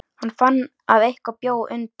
Hann fann að eitthvað bjó undir.